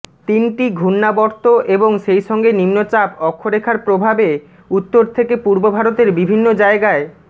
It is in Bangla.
তিনটি ঘূর্ণাবর্ত এবং সেই সঙ্গে নিম্নচাপ অক্ষরেখার প্রভাবে উত্তর থেকে পূর্ব ভারতের বিভিন্ন জায়গায়